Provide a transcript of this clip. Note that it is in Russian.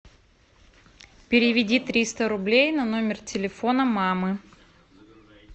переведи триста рублей на номер телефона мамы